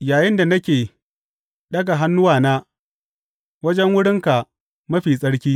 yayinda nake daga hannuwana wajen Wurinka Mafi Tsarki.